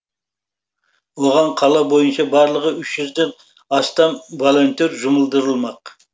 оған қала бойынша барлығы үш жүзден астам волонтер жұмылдырылмақ